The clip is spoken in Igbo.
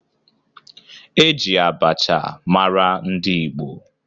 E ji abacha mara ndị Igbo